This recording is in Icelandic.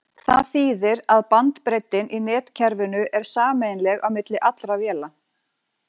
Það þýðir að bandbreiddin í netkerfinu er sameiginleg á milli allra véla.